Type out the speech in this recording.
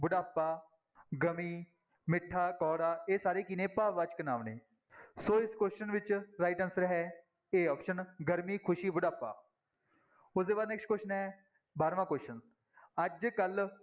ਬੁਢਾਪਾ, ਗਮੀ, ਮਿੱਠਾ, ਕੌੜਾ, ਇਹ ਸਾਰੇ ਕੀ ਨੇ ਭਾਵਵਾਚਕ ਨਾਂਵ ਨੇ, ਸੋ ਇਸ question ਵਿੱਚ right answer ਹੈ a option ਗਰਮੀ, ਖ਼ੁਸ਼ੀ, ਬੁਢਾਪਾ ਉਹਦੇ ਬਾਅਦ next question ਹੈ ਬਾਰਵਾਂ question ਅੱਜ ਕੱਲ੍ਹ